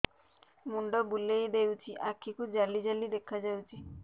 ମୁଣ୍ଡ ବୁଲେଇ ଦେଉଛି ଆଖି କୁ ଜାଲି ଜାଲି ଦେଖା ଯାଉଛି